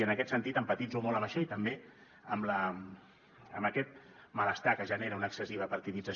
i en aquest sentit empatitzo molt amb això i també amb aquest malestar que genera una excessiva partidització